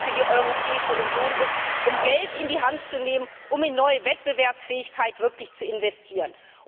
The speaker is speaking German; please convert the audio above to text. für die Europäische Union ist, um Geld in die Hand zu nehmen und wirklich in neue Wettbewerbsfähigkeit zu investieren.